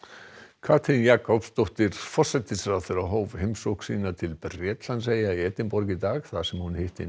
Katrín Jakobsdóttir forsætisráðherra hóf heimsókn sína til Bretlandseyja í Edinborg í dag þar sem hún hitti